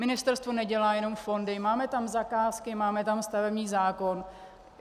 Ministerstvo nedělá jenom fondy, máme tam zakázky, máme tam stavební zákon.